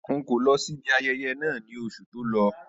Rárá, n̄ kò lọ sí ibi ayẹyẹ náà ní oṣù tó lọ.